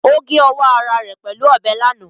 Ó gé ọwọ́ ara rẹ̀ pẹ̀lú ọbẹ̀ lánàá